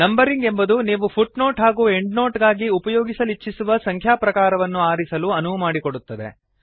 numbering ಎಂಬುದು ನೀವು footnote ಹಾಗೂ ಎಂಡ್ನೊಟ್ ಗಾಗಿ ಉಪಯೋಗಿಸಲಿಚ್ಛಿಸುವ ಸಂಖ್ಯಾ ಪ್ರಕಾರವನ್ನು ಆರಿಸಲು ಅನುವುಮಾಡಿಕೊಡುತ್ತದೆ